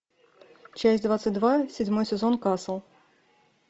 часть двадцать два седьмой сезон касл